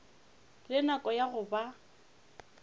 le nako ya go ba